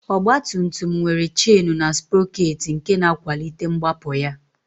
Ọgbatumtum nwere chen na sprọkeetị nke na-akwalite mgbapụ ya